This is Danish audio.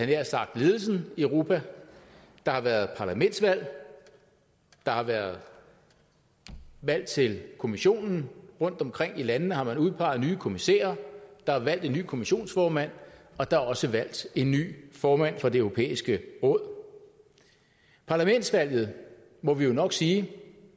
nær sagt ledelsen i europa der har været parlamentsvalg der har været valg til kommissionen rundt omkring i landene har man udpeget nye kommissærer der er valgt en ny kommissionsformand og der er også valgt en ny formand for det europæiske råd parlamentsvalget må vi jo nok sige